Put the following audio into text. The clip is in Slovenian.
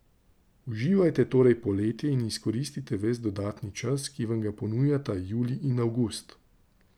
Uživajte torej poletje in izkoristite ves dodatni čas, ki vam ga ponujata julij in avgust!